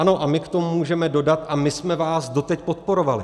Ano, a my k tomu můžeme dodat: a my jsme vás doteď podporovali.